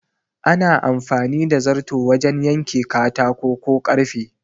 Ana amfani da zarto wajan yanke katako ko karfe